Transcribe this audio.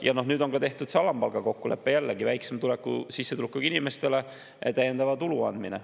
Ja nüüd on tehtud see alampalga kokkulepe, mille järgi antakse väiksema sissetulekuga inimestele täiendavat tulu.